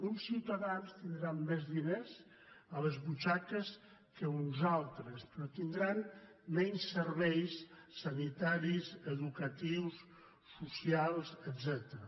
uns ciutadans tindran més diners a les butxaques que uns altres però tindran menys serveis sanitaris educatius socials etcètera